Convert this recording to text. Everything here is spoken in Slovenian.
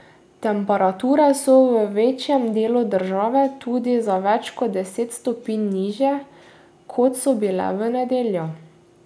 Temperature so v večjem delu države tudi za več kot deset stopinj nižje, kot so bile v nedeljo.